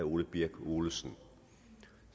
ole birk olesen